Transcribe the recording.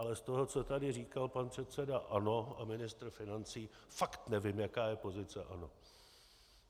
Ale z toho, co tady říkal pan předseda ANO a ministr financí, fakt nevím, jaká je pozice ANO.